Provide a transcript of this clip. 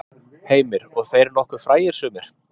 Heimir: Og þeir nokkuð frægir sumir?